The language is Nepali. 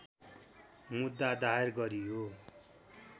मुद्दा दायर गरियो